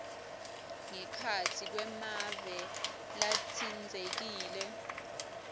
ngekhatsi kwemave latsintsekile